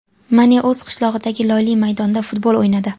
Mane o‘z qishlog‘idagi loyli maydonda futbol o‘ynadi.